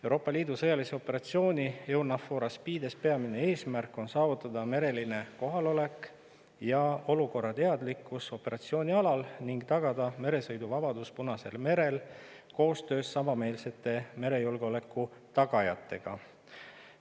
Euroopa Liidu sõjalise operatsiooni EUNAVFOR ASPIDES peamine eesmärk on saavutada mereline kohalolek ja olukorrateadlikkus operatsioonialal ning tagada meresõiduvabadus Punasel merel koostöös samameelsete merejulgeoleku tagajatega.